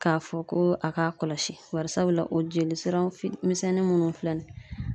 K'a fɔ ko a k'a kɔlɔsi barisabula o jelisiraw fitini misɛnnin munnu filɛ nin ye